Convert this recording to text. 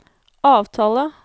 avtale